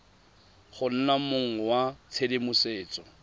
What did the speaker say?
go nna mong wa tshedimosetso